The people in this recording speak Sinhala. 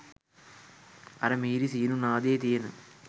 අර මිහිරි සීනු නාදයේ තියෙන